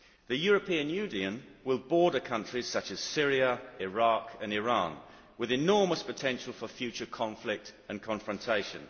The European Union will border countries such as Syria, Iraq and Iran, with enormous potential for future conflict and confrontation.